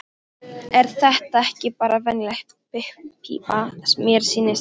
Er þetta ekki bara venjuleg pípa, mér sýnist það.